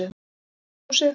Inn í eldhúsið.